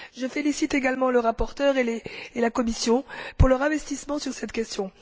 Je félicite également le rapporteur et la Commission pour leur investissement sur cette question.